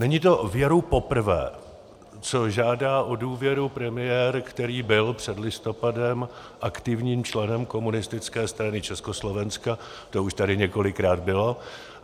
Není to věru poprvé, co žádá o důvěru premiér, který byl před listopadem aktivním členem Komunistické strany Československa, to už tady několikrát bylo.